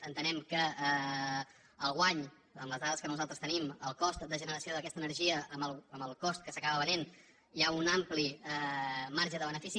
entenem que el guany amb les dades que nosaltres tenim en el cost de generació d’aquesta energia amb el cost a què s’acaba venent hi ha un ampli marge de benefici